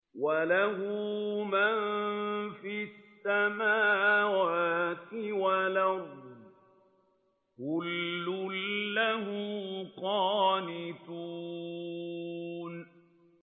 وَلَهُ مَن فِي السَّمَاوَاتِ وَالْأَرْضِ ۖ كُلٌّ لَّهُ قَانِتُونَ